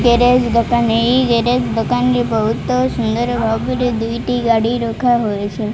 Garage ଦୋକାନ ଏହି garage ଦୋକାନରେ ବହୁତ ସୁନ୍ଦର ଭାବରେ ଦୁଇଟି ଗାଡ଼ି ରଖାହୋଇଛନ୍ତି।